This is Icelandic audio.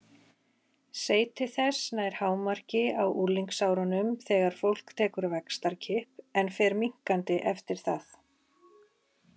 Seyti þess nær hámarki á unglingsárunum þegar fólk tekur vaxtarkipp en fer minnkandi eftir það.